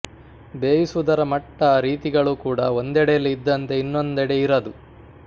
ಬೇಯಿಸುವುದರ ಮಟ್ಟ ರೀತಿಗಳು ಕೂಡ ಒಂದೆಡೆಯಲ್ಲಿ ಇದ್ದಂತೆ ಇನ್ನೊಂದೆಡೆ ಇರದು